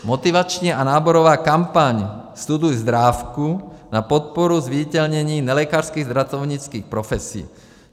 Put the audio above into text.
Motivační a náborová kampaň Studuj zdrávku na podporu zviditelnění nelékařských zdravotnických profesí.